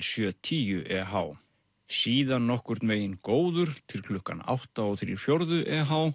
sjö tíu eh síðan nokkurn veginn góður til klukkan átta þrjá fjórðu